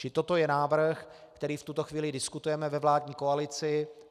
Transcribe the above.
Čili toto je návrh, který v tuto chvíli diskutujeme ve vládní koalici.